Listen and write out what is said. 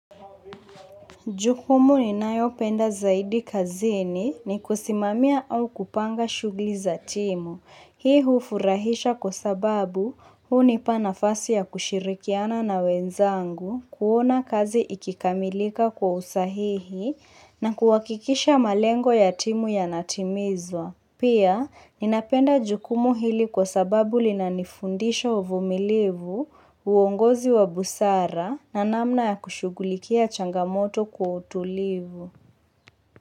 Jukumu ninayopenda zaidi kazini ni kusimamia au kupanga shughli za timu. Hii hufurahisha kwa sababu hunipa nafasi ya kushirikiana na wenzangu, kuona kazi ikikamilika kwa usahihi na kuhakikisha malengo ya timu yanatimizwa. Pia, ninapenda jukumu hili kwa sababu linanifundisha uvumilivu, uongozi wa busara na namna ya kushughulikia changamoto kwa utulivu.